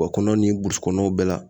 Wa kɔnɔ ni burusikɔnɔlaw bɛɛ la